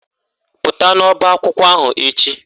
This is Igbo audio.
Pụta n'ọbaakwụkwọ ahụ echi!